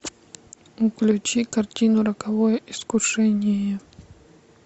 включи картину роковое искушение